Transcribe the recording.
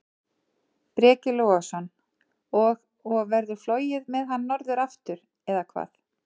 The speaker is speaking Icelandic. Breki Logason: Og, og verður flogið með hann norður aftur, eða hvað?